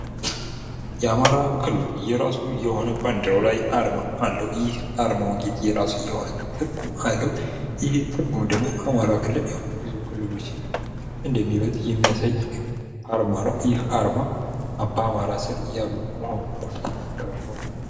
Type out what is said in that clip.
የአማራ ክልል የእራሱ የሆነ ባንዴራ ላይ አርማ አለው። ይህ አርማው እንግዲ የራሱ የሆነ ትርጉም አለው። ይህም ትርጉም ደግሞ አማራ ክልል ብዙ ክልሎችን እንደሚበልጥ የሚያሳይ አርማ ነው። ይህ አርማ በአማራ ስር ያሉ በሚል ነው ሚተረጎመው።